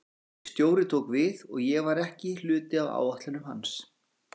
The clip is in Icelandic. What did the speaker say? Nýr stjóri tók við og ég var ekki hluti af áætlunum hans.